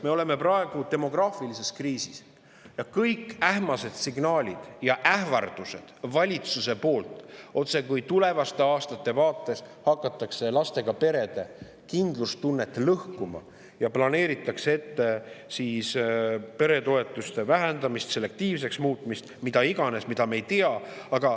Me oleme praegu demograafilises kriisis ja kõik ähmased signaalid ja ähvardused valitsuse poolt, otsekui tulevaste aastate vaates hakataks lastega perede kindlustunnet lõhkuma, planeeritakse ette peretoetuste vähendamist, selektiivseks muutmist, mida iganes, me ei tea …